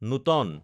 নোটান